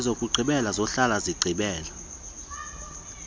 ezokugqibela zohlala zigqibela